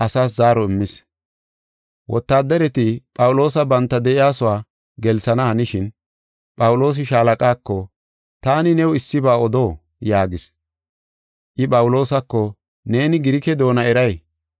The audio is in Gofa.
Wotaaddareti Phawuloosa banta de7iyasuwa gelsana hanishin, Phawuloosi shaalaqaako, “Taani new issiba odo?” yaagis. I Phawuloosako, “Neeni Girike doona eray?